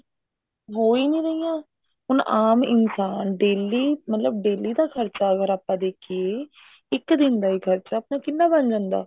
ਹੋ ਹੀ ਨਹੀਂ ਰਹੀਆਂ ਹੁਣ ਆਮ ਇਨਸਾਨ daily ਮਤਲਬ daily ਦਾ ਖਰਚਾ ਅਗਰ ਆਪਾਂ ਦੇਖੀਏ ਇੱਕ ਦਿਨ ਦਾ ਹੀ ਖਰਚਾ ਆਪਣਾ ਕਿੰਨਾ ਬਣ ਜਾਂਦਾ